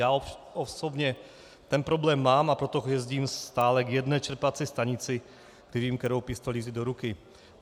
Já osobně ten problém mám, a proto jezdím stále k jedné čerpací stanici, kde vím, kterou pistoli vzít do ruky.